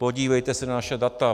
Podívejte se na naše data! -